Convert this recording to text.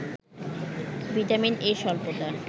vitamin A’ স্বল্পতা